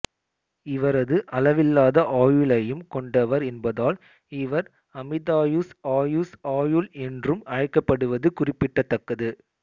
இவரது அளவில்லாத ஆயுளையும் கொண்டவர் என்பதால் இவர் அமிதாயுஸ் ஆயுஸ் ஆயுள் என்றும் அழைக்கப்படுவது குறிப்பிடத்தக்கது